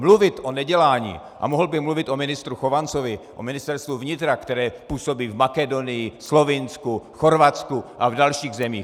Mluvit o nedělání, a mohl bych mluvit o ministru Chovancovi, o Ministerstvu vnitra, které působí v Makedonii, Slovinsku, Chorvatsku a v dalších zemích.